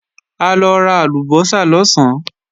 A lọ ra àlùbọ́sà lọ̀sán